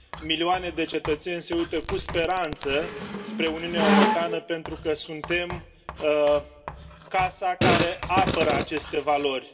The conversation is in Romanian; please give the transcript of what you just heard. Milioane de cetățeni se uită cu speranță spre Uniunea Europeană pentru că suntem casa care apără aceste valori.